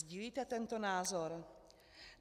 Sdílíte tento názor?